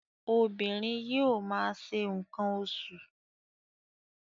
Obìnrin yóò ma ṣe nǹkan oṣù.